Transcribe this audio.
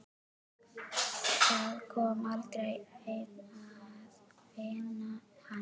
Það kom aldrei neinn að finna hann.